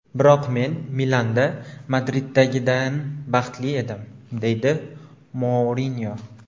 Biroq men Milanda Madriddagidan baxtli edim”, deydi Mourinyo.